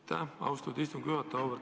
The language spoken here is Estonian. Aitäh, austatud istungi juhataja!